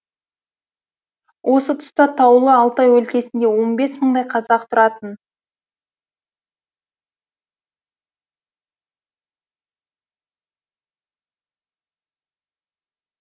ол тұста таулы алтай өлкесінде он бес мыңдай қазақ тұратын